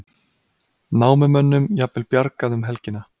Námamönnum jafnvel bjargað um helgina